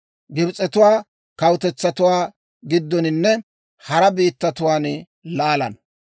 Gibs'etuwaa kawutetsatuwaa giddoninne hara biittatuwaan laalana.